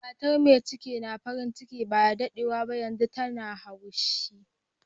Mata mai cikin na farin ciki ba da daddewa ba, yanzun tana haushi.